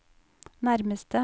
nærmeste